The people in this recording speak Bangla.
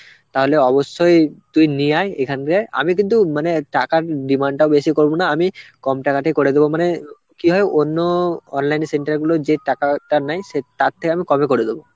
তাহলে অবশ্যই তুই নিয়ে আয় এখান দিয়ে আমি কিন্তু মানে টাকার demand টা বেশি করব না, আমি কম টাকাতেই করে দেবো মানে কি হয় অন্য online এর center গুলো যে টাকাটা নেয় সে তার থেকে আমি কমে করে দেবো.